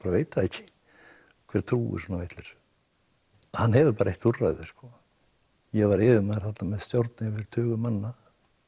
veit það ekki hver trúir svona vitleysu hann hefur bara eitt úrræði ég var yfirmaður þarna með stjórn tug manna